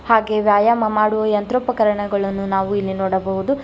ಹಾಗೆ ವ್ಯಾಯಾಮ ಮಾಡುವ ಯಂತ್ರೋಪಕರಣಗಳನ್ನು ನಾವು ಇಲ್ಲಿ ನೋಡಬಹುದು.